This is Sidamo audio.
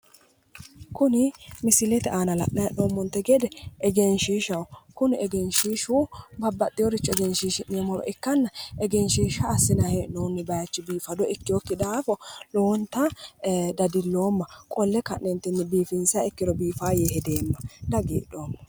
Kuni misilete aana la'nanni hee'noommonte gede egenshiishshaho. Kini egenshiishshi babbaxxewore egenshishii'neemmowa ikkanna egenshiishsha assinanni hee'noonni bayichi biifadi ikkewokki daafo lowo geeshsha dadilloomma. Qolle ka'ne biifinsiha ikkiro biifawo yee hedeemma. Dagidhoomma.